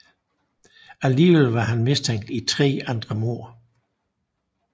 Alligevel var han mistænkt i tre andre mord